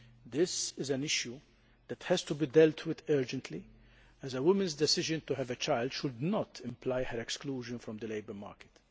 This is an issue that has to be dealt with urgently, as a woman's decision to have a child should not imply her exclusion from the labour market.